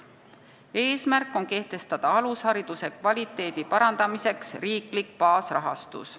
Eesmärk on kehtestada alushariduse kvaliteedi parandamiseks riiklik baasrahastus.